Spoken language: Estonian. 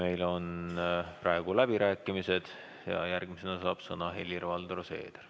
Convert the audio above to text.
Meil on praegu läbirääkimised ja järgmisena saab sõna Helir-Valdor Seeder.